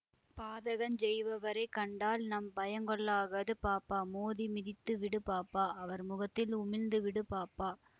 பாதகஞ் செய்பவரை கண்டால் நாம் பயங்கொள்ள லாகாது பாப்பா மோதி மிதித்துவிடு பாப்பா அவர் முகத்தில் உமிழ்ந்துவிடு பாப்பா